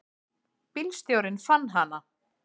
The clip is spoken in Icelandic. Bílstjórinn fann hana.